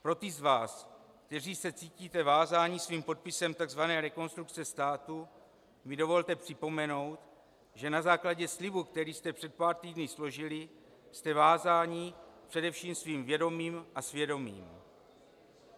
Pro ty z vás, kteří se cítíte vázáni svým podpisem tzv. Rekonstrukce státu, mi dovolte připomenout, že na základě slibu, který jste před pár týdny složili, jste vázáni především svým vědomím a svědomím.